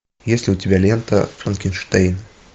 есть ли у тебя лента франкенштейн